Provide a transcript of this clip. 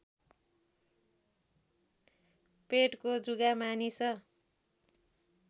पेटको जुका मानिस